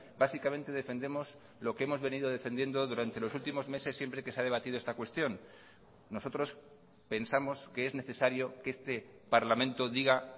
básicamente defendemos lo que hemos venido defendiendo durante los últimos meses siempre que se ha debatido esta cuestión nosotros pensamos que es necesario que este parlamento diga